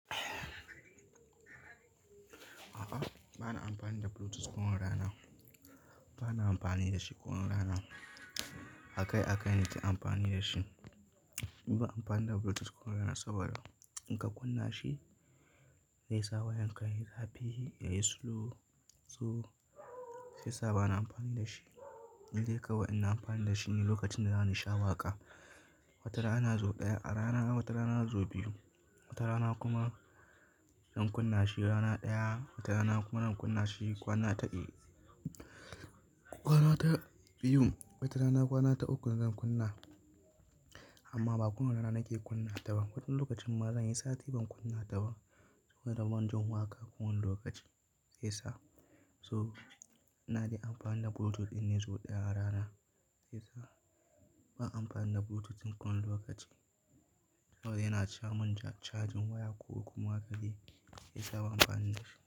A'a, bana amfani da Bluetooth kowane rana. Bana amfani da shi kowane rana. Akai akai nake amfani da shi. Ban amfani da Bluetooth kowane rana saboda in ka kunna shi zai sa wayanka yayi zafi, ya yi slow. So, sai sa bana amfani da shi. Indai kawai ina amfani da shi ne lokacin da zani sha waƙa. Wata rana ya zo ɗaya a rana, wata rana ya zo biyu. Wata rana kuma zan kunna shi rana ɗaya, wata rana kuma zan kunna shi kwana ta e-- kwana ta biyu, wata rana kwana ta ukun zan kunna. Amma ba kowane rana nake kunna ta ba. Wani lokacin ma zan yi sati ban kunna ta ba. Saboda ban jin waƙa kowane lokaci. Sai sa so, na dai amfani da Bluetooth ɗin ne so ɗaya a rana. Sai sa ban amfani da Bluetooth in kowane lokaci. Saboda yana camin ca-chajin waya ko kuma haka de, sai sa ban amfani da shi.